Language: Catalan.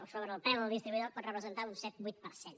o sobre el preu del distribuïdor pot representar un set vuit per cent